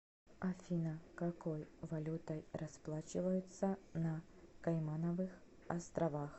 афина какой валютой расплачиваются на каймановых островах